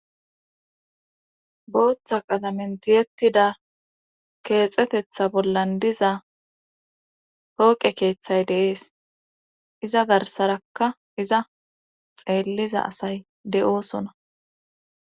booththa qalamen tiyettida keexetetha bollan diza hooqe keeththay deees iza garsarakka iza xeelliza asay de7oosona